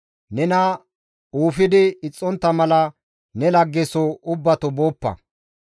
Nena uufidi ixxontta mala ne lagge soo ubbato booppa.